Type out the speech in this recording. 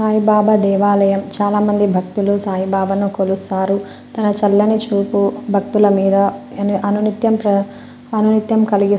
సాయి బాబా దేవాలయం చాలామంది భక్తులు సాయిబాబాను కొలుస్తారు తన చల్లని చూపు భక్తుల మీద అని అనునిత్యం అనునిత్యం కలిగి --